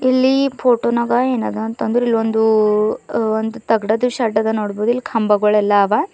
ಇಲ್ಲಿ ಫೋಟೋ ನಾಗ ಏನದ ಅಂತ ಅಂದ್ರ್ ಇಲ್ಲಿ ಒಂದು ಹ ತಗಡು ದು ಶೆಡ್ ಅದ ನೋಡ್ಬೋದು ಇಲ್ಲಿ ಕಂಬಗಳೆಲ್ಲ ಆವ.